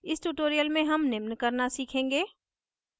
इस tutorial में हम निम्न करना सीखेंगे